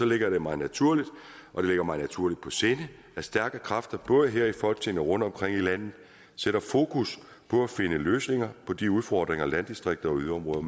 ligger det mig naturligt mig naturligt på sinde at stærke kræfter både her i folketinget og rundtomkring i landet sætter fokus på at finde løsninger på de udfordringer landdistrikter og yderområder